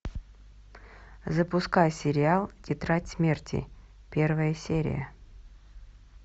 запускай сериал тетрадь смерти первая серия